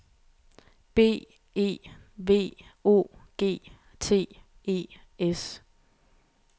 B E V O G T E S